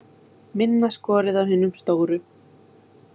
Minna skorið af hinum stóru